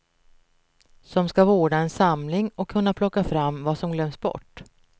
Som ska vårda en samling och kunna plocka fram vad som glömts bort.